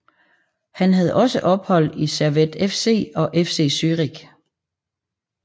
Han havde også ophold i Servette FC og FC Zürich